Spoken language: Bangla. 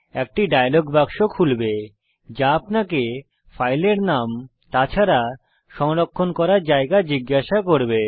একটি ডায়লগ বাক্স খুলবে যা আপনাকে ফাইলের নাম তাছাড়া সংরক্ষণ করার জায়গা জিজ্ঞাসা করবে